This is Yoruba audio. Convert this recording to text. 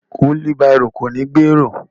Wílí barò kò ní gbé èrò.